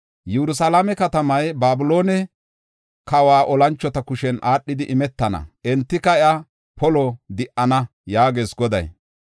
Yerusalaame katamay Babiloone kawa olanchota kushen aadhidi imetana; entika iya polo di77ana” yaagees Goday.